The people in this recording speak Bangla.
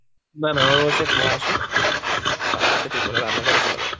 না না আমাদের mess এ খালা আসে, খালা এসে তিন বেলা রান্না করে চলে যায়।